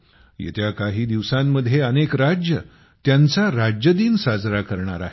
येत्या काही दिवसांमध्ये अनेक राज्ये त्यांचा राज्य दिन साजरा करणार आहेत